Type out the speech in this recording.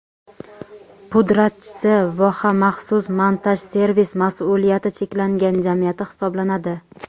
pudratchisi "Voha maxsus montaj servis" mas’uliyati cheklangan jamiyati hisoblanadi.